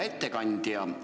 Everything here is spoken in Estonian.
Hea ettekandja!